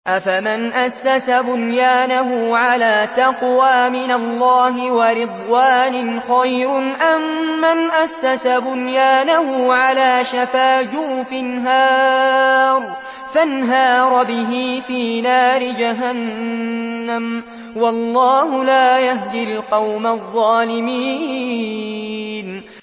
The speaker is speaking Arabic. أَفَمَنْ أَسَّسَ بُنْيَانَهُ عَلَىٰ تَقْوَىٰ مِنَ اللَّهِ وَرِضْوَانٍ خَيْرٌ أَم مَّنْ أَسَّسَ بُنْيَانَهُ عَلَىٰ شَفَا جُرُفٍ هَارٍ فَانْهَارَ بِهِ فِي نَارِ جَهَنَّمَ ۗ وَاللَّهُ لَا يَهْدِي الْقَوْمَ الظَّالِمِينَ